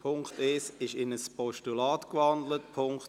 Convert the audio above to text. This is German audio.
Punkt 1 ist in ein Postulat gewandelt worden.